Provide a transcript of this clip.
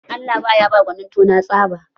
Allah ba ya ba gwanin tona tsaba.